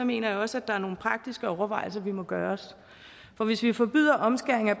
mener jeg også at der er nogle praktiske overvejelser vi må gøre os for hvis vi forbyder omskæring af